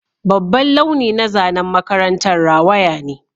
Babban launi na zanen makarantar rawaya ne